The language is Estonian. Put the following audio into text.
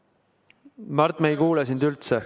Mart, me ei kuule sind üldse.